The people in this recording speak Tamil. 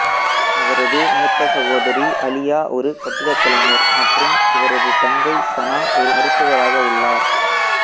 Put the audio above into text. அவரது மூத்த சகோதரி அலியா ஒரு கட்டிடக் கலைஞர் மற்றும் இவரது தங்கை சனா ஒரு மருத்துவராக உள்ளார்